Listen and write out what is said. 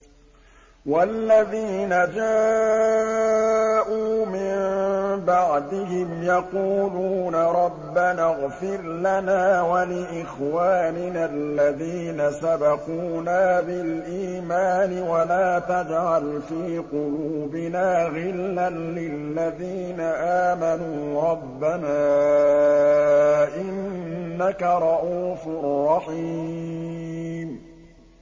وَالَّذِينَ جَاءُوا مِن بَعْدِهِمْ يَقُولُونَ رَبَّنَا اغْفِرْ لَنَا وَلِإِخْوَانِنَا الَّذِينَ سَبَقُونَا بِالْإِيمَانِ وَلَا تَجْعَلْ فِي قُلُوبِنَا غِلًّا لِّلَّذِينَ آمَنُوا رَبَّنَا إِنَّكَ رَءُوفٌ رَّحِيمٌ